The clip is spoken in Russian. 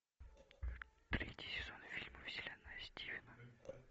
третий сезон фильма вселенная стивена